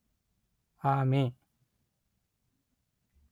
ಆಮೆ